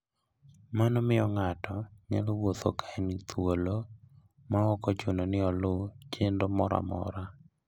Mano miyo ng'ato nyalo wuotho ka en thuolo maok ochuno ni oluw chenro moro amora.